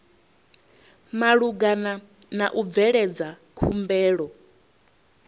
malugana na u bveledza khumbelo